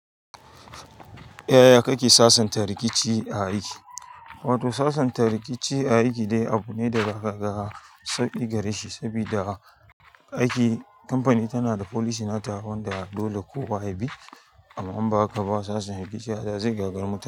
Yaya kake sasanta rikici a aiki? Wato sasanta rikici a aiki dai abu ne da za ka ga sauƙi gareshi saboda aiki, kamfani tanada policy nata wanda dole kowa ya bi amma in ba haka ba sasanta rikici, haka zai gagari mutane.